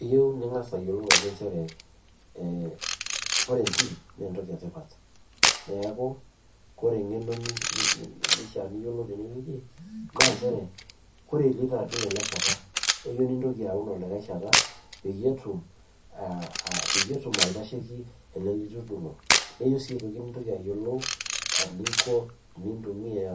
Eyieu ning'as ayiolou ajo nchere, ore entim naa entoki etipat. Neeku kore eng'eno nifaa niyiolou tenewueji naa nchere kore iloito adung ele sheta, eyieu nintoki aun olikae sheta peyie etum aitasheiki ele litudung'o. Neyiej sii aitoki nintoki ayiolou eninko enintumia